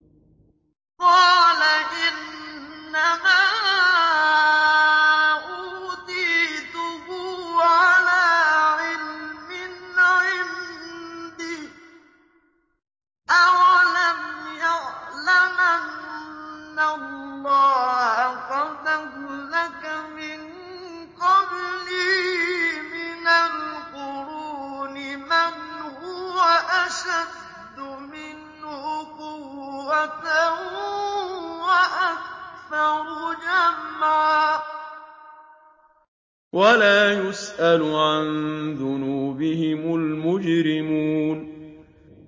قَالَ إِنَّمَا أُوتِيتُهُ عَلَىٰ عِلْمٍ عِندِي ۚ أَوَلَمْ يَعْلَمْ أَنَّ اللَّهَ قَدْ أَهْلَكَ مِن قَبْلِهِ مِنَ الْقُرُونِ مَنْ هُوَ أَشَدُّ مِنْهُ قُوَّةً وَأَكْثَرُ جَمْعًا ۚ وَلَا يُسْأَلُ عَن ذُنُوبِهِمُ الْمُجْرِمُونَ